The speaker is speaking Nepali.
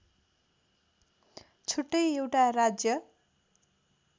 छुट्टै एउटा राज्य